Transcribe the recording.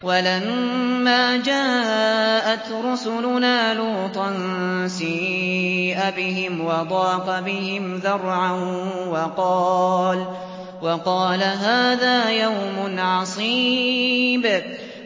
وَلَمَّا جَاءَتْ رُسُلُنَا لُوطًا سِيءَ بِهِمْ وَضَاقَ بِهِمْ ذَرْعًا وَقَالَ هَٰذَا يَوْمٌ عَصِيبٌ